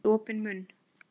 Með opinn munn.